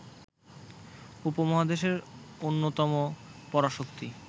উপমহাদেশের অন্যতম পরাশক্তি